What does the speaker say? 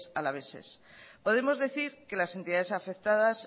alaveses podemos decir que las entidades afectadas